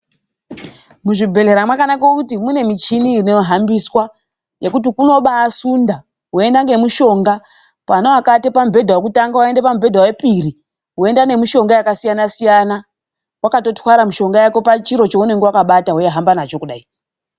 Muzvibhedhlera makanakira kuti mune michini inohambiswa yekuti unobasundwa weienda nemushonga kune akaata pamubhedha wekutanga woenda pamubhedha wepiri woenda nemishonga yakasiyana siyana wakatwara mishonga pachiro chaunenge wakabata weihamba nacho kudai.